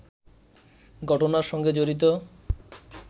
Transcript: ঘটনার সঙ্গে জড়িত